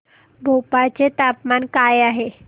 भोपाळ चे तापमान काय आहे